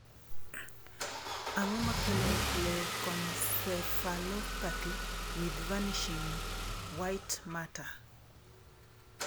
Ang'o makelo Leukoencephalopathy with vanishing white matter?